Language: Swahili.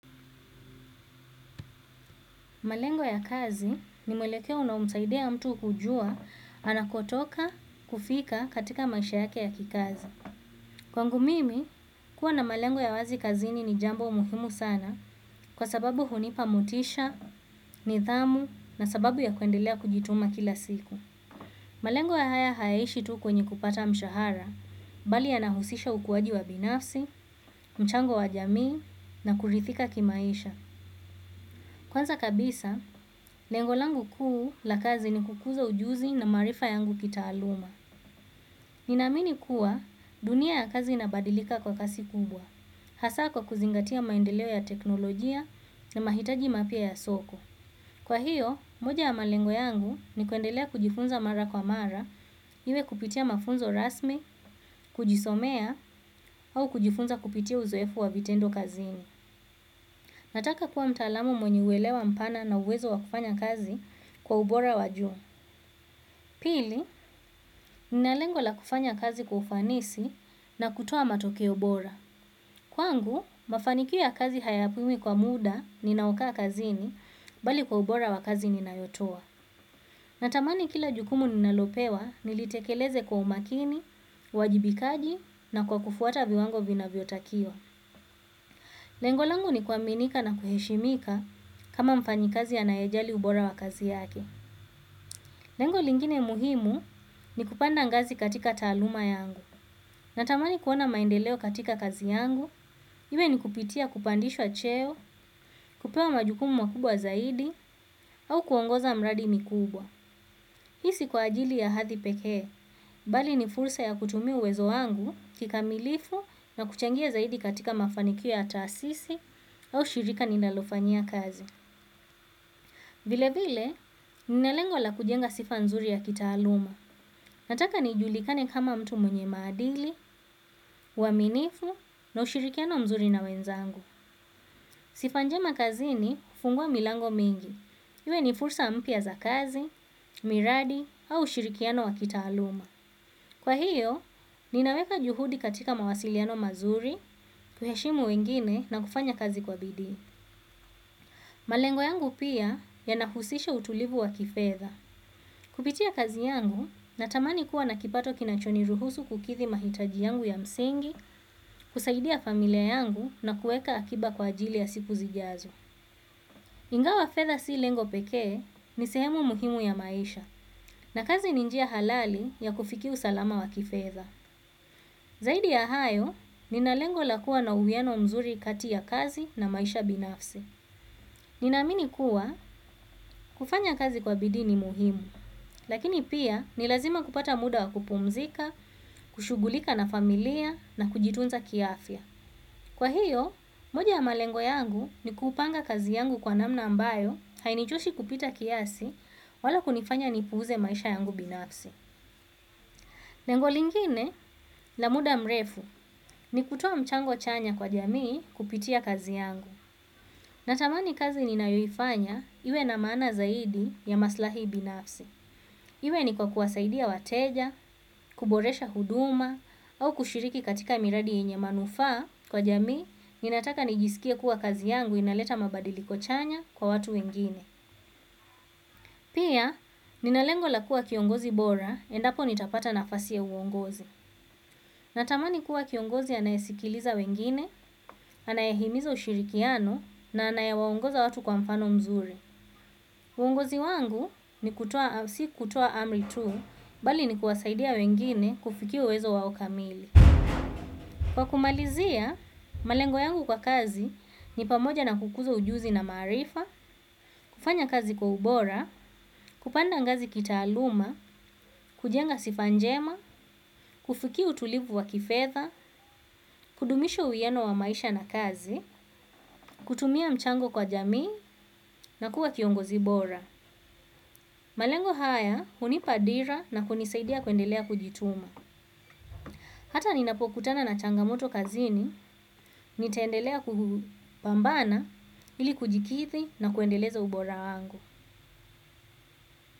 Malengo ya kazi ni mwelekeo na unamsaidea mtu hujua anakotoka kufika katika maisha yake ya kikazi. Kwa ngu mimi, kuwa na malengo ya wazi kazini ni jambo umuhimu sana kwa sababu hunipa motisha, nithamu na sababu ya kuendelea kujituma kila siku. Malengo ya haya haeishi tu kwenye kupata mshahara, bali yanahusisha ukuwaji wa binafsi, mchango wa jamii na kurithika kimaisha. Kwanza kabisa, lengolangu kuu la kazi ni kukuza ujuzi na marifa yangu kitaaluma. Ninamini kuwa dunia ya kazi inabadilika kwa kasi kubwa, hasa kwa kuzingatia maendeleo ya teknolojia na mahitaji mapia ya soko. Kwa hiyo, moja ya malengo yangu ni kuendelea kujifunza mara kwa mara, iwe kupitia mafunzo rasmi, kujisomea, au kujifunza kupitia uzoefu wa vitendo kazi ini. Nataka kuwa mtalamu mwenye uelewa mpana na uwezo wakufanya kazi kwa ubora wajua. Pili, ninalengola kufanya kazi kwa ufanisi na kutoa matokeo bora. Kwangu, mafanikio kazi hayapimwi kwa muda ninaoka kazini bali kwa ubora wakazi ninayotua. Natamani kila jukumu ninalopewa nilitekeleze kwa umakini, uwajibikaji na kwa kufuata viwango vina viotakiwa. Lengolangu ni kuaminika na kuheshimika kama mfanyi kazi anayejali ubora wa kazi yake. Lengolingine muhimu ni kupanda ngazi katika taluma yangu. Natamani kuona maendeleo katika kazi yangu iwe ni kupitia kupandishwa cheo kupewa majukumu makubwa zaidi au kuongoza miradi mikubwa hii si kwa ajili ya hadhi pekee bali ni fursa ya kutumia uwezo wangu kikamalifu na kuchangia zaidi katika mafanikio ya taasisi au shirika ninalofanyia kazi. Vile vile, ninalengo la kujenga sifa nzuri ya kita aluma. Nataka nijulikane kama mtu mwenye madili, waminifu na ushirikiano mzuri na wenzangu. Sifa njema kazi ni hufungua milango mingi. Iwe ni fursa mpia za kazi miradi au ushirikiano wa kitaaluma. Kwa hiyo, ninaweka juhudi katika mawasiliano mazuri, kuheshimu wengine na kufanya kazi kwa bidhi. Malengo yangu pia ya nahusisha utulivu wa kifedha. Kupitia kazi yangu, natamani kuwa nakipato kinachoni ruhusu kukithi mahitaji yangu ya msingi, kusaidia familia yangu na kueka akiba kwa ajili ya siku zijazo. Ingawa fedha si lengo pekee ni sehemu muhimu ya maisha, na kazi ninjia halali ya kufikia usalama wa kifedha. Zaidi ya hayo, ninalengo lakua na uwieno mzuri kati ya kazi na maisha binafsi. Ninaminikuwa kufanya kazi kwa bidini muhimu, lakini pia nilazima kupata muda wa kupumzika, kushugulika na familia na kujitunza kiafia. Kwa hiyo, moja ya malengo yangu ni kupanga kazi yangu kwa namna ambayo hainichoshi kupita kiasi wala kunifanya nipuze maisha yangu binafsi. Lengo lingine na muda mrefu ni kutowa mchango chanya kwa jamii kupitia kazi yangu. Natamani kazi ninayoifanya iwe na maana zaidi ya maslahi binafsi. Iwe ni kwa kuwasaidia wateja kuboresha huduma au kushiriki katika miradi yenye manufaa kwa jamii ninataka nijiskie kuwa kazi yangu inaleta mabadiliko chanya kwa watu wengine. Pia, ninalengo lakua kiongozi bora, endapo nitapata nafasi ya uongozi. Natamani kuwa kiongozi anayesikiliza wengine, anayahimiza ushirikiano na anayawongoza watu kwa mfano mzuri. Uongozi wangu ni kutoa, si kutoa amri tu, bali ni kuwasaidia wengine kufikia uwezo wao kamili. Kwa kumalizia, malengo yangu kwa kazi ni pamoja na kukuzo ujuzi na marifa, kufanya kazi kwa ubora, kupanda ngazi kitaaluma, kujenga sifanjema, kufiki utulivu wa kifedha, kudumisha uyeano wa maisha na kazi, kutumia mchango kwa jamii, na kuwa kiongozi bora. Malengo haya, unipadira na kunisaidia kuendelea kujituma. Hata ninapokutana na changamoto kazini, nitaendelea kubambana, ili kujikithi na kuendeleza ubora wangu.